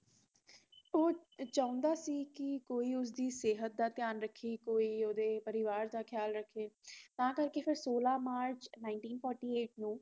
ਓਹ ਚਾਹੁੰਦਾ ਸੀ ਕਿ ਕੋਈ ਉਸਦੀ ਸਿਹਤ ਦਾ ਧਿਆਨ ਰੱਖੇ ਕੋਈ ਓਹਦੇ ਪਰਿਵਾਰ ਦਾ ਖਿਆਲ ਰੱਖੇ ਤਾਂ ਕਰਕੇ ਫੇਰ ਸੋਲਹ ਮਾਰਚ ਉੱਨੀ ਸੌ ਅਤਾਲੀ ਨੂੰ